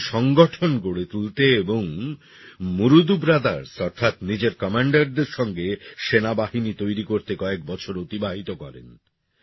তিনি সংগঠন গড়ে তুলতে এবং মুরুদু ব্রাদার্স অর্থাৎ নিজের কমান্ডারদের সঙ্গে সেনাবাহিনী তৈরি করতে কয়েক বছর অতিবাহিত করেন